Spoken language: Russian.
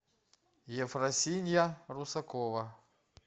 ефросинья русакова